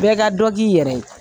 Bɛɛ ka dɔ k'i yɛrɛ ye.